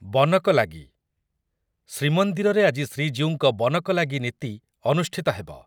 ବନକଲାଗି ଶ୍ରୀମନ୍ଦିରରେ ଆଜି ଶ୍ରୀଜୀଉଙ୍କ ବନକଲାଗି ନୀତି ଅନୁଷ୍ଠିତ ହେବ ।